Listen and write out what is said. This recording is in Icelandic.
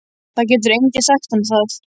Það getur enginn sagt honum það.